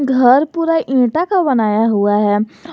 घर पुरा ईंटा का बनाया हुआ है।